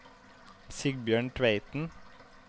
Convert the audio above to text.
Sigbjørn Tveiten